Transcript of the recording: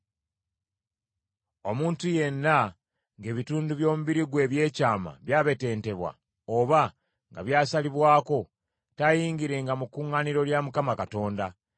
“Omuntu yenna ng’ebitundu by’omubiri gwe eby’ekyama byabetentebwa oba nga byasalibwako, taayingirenga mu kuŋŋaaniro lya Mukama Katonda.